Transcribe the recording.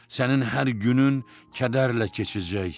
Sənin hər günün kədərlə keçəcək.